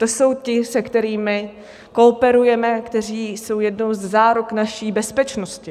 To jsou ti, se kterými kooperujeme, kteří jsou jednou ze záruk naší bezpečnosti.